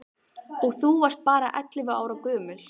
Og þú varst bara ellefu ára gömul.